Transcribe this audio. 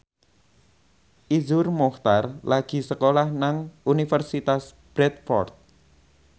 Iszur Muchtar lagi sekolah nang Universitas Bradford